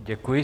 Děkuji.